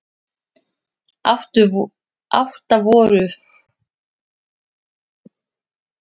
Átta voru um borð.